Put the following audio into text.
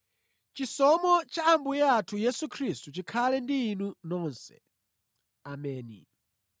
Chisomo cha Ambuye athu Yesu Khristu chikhale ndi inu nonse. Ameni.